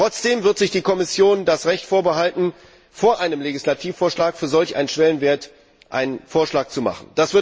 Trotzdem wird sich die Kommission das Recht vorbehalten, vor einem Legislativvorschlag für solch einen Schwellenwert einen Vorschlag zu machen.